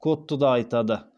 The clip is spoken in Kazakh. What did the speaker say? кодты да айтады